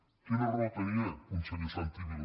quina raó tenia conseller santi vila